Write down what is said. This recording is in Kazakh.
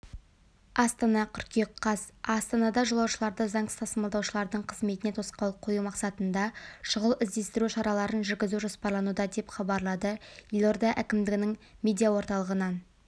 астана қыркүйек қаз астанада жолаушыларды заңсыз тасымалдаушылардың қызметіне тосқауыл қою мақсатында шұғыл-іздестіру шараларын жүргізу жоспарлануда деп хабарлады елорда әкімдігінің медиаорталығынан